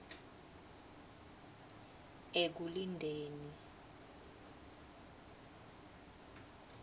ekulindeni